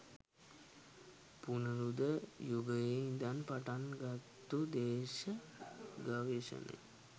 පුනරුද යුගයේ ඉඳන් පටන් ගත්තු දේශ ගවේෂණය